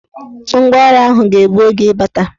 Ngwaọrụ ahụ ga-egbu oge ịbata.